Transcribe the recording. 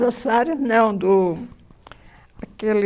Jô Soares, não, do... aquele...